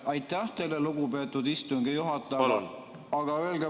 Aitäh teile, lugupeetud istungi juhataja!